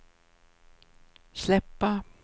släppa